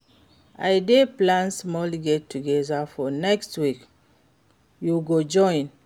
I dey plan small get-together for next week, you go join?